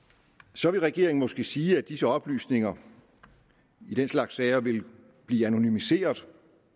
så vil regeringen måske sige at disse oplysninger i den slags sager vil blive anonymiseret